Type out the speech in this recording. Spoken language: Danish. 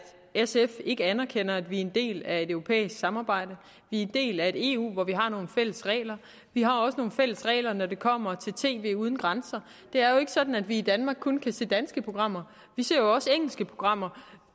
at sf ikke anerkender at vi er en del af et europæisk samarbejde vi er en del af et eu hvor vi har nogle fælles regler vi har også nogle fælles regler når det kommer til tv uden grænser det er jo ikke sådan at vi i danmark kun kan se danske programmer vi ser jo også engelske programmer